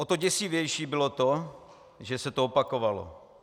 O to děsivější bylo to, že se to opakovalo.